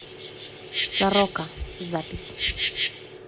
сорока запись